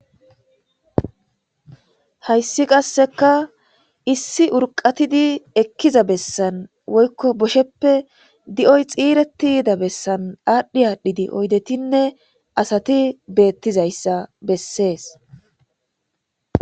Hayssi qasseka issi urqqatidi ekkiza bessan woykko bosheppe di'oy xiiretti yida bessan aadhi aadhidi oydetinne asati beetetizayssa bessees.